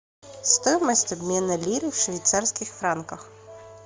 стоимость обмена лиры в швейцарских франках